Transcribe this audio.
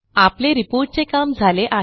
आपले रिपोर्ट चे काम झाले आहे